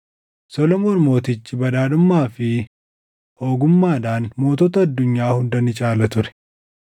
Solomoon Mootichi badhaadhummaa fi ogummaadhaan mootota addunyaa hunda ni caala ture.